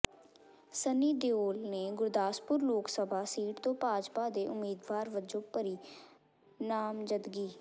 ਸੰਨੀ ਦਿਓਲ ਨੇ ਗੁਰਦਾਸਪੁਰ ਲੋਕ ਸਭਾ ਸੀਟ ਤੋਂ ਭਾਜਪਾ ਦੇ ਉਮੀਦਵਾਰ ਵਜੋਂ ਭਰੀ ਨਾਮਜ਼ਦਗੀ